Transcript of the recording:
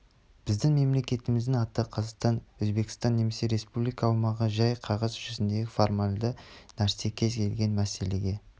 біздің мемлекетіміздің аты қазақстан өзбекстан емес республикалар аумағы жәй қағаз жүзіндегі формалды нәрсе кез келген мәселеге